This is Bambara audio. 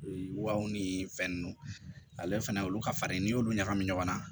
Waw ni fɛn nunnu ale fɛnɛ olu ka farin n'i y'olu ɲagami ɲɔgɔn na